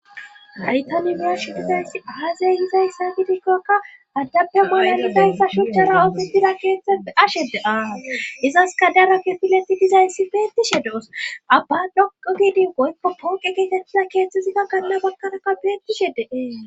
haytanibirash dizayss haazey gizayssa fidikkakka addappe maayanifa hyssa shuchcha rawoti dila keeththepfe ashe deaaa izas kadara ke fileti dizayssi beettishe de7os abba dhoqo gidin goykko pooqe gietettila keeththesina ganla bakkaraka beettishe deee